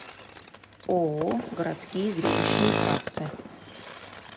ооо городские зрелищные кассы